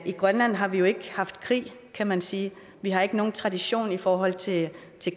i grønland har vi jo ikke haft krig kan man sige vi har ikke nogen tradition i forhold til